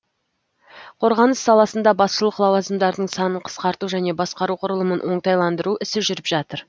қорғаныс саласында басшылық лауазымдардың санын қысқарту және басқару құрылымын оңтайландыру ісі жүріп жатыр